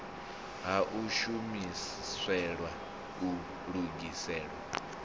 ha u shumiselwa u lugisela